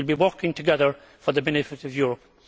We will be working together for the benefit of